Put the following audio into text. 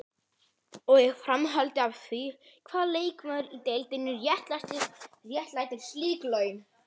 Og í framhaldi af því: Hvaða leikmaður í deildinni réttlætir slík laun?